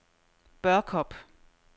Børkop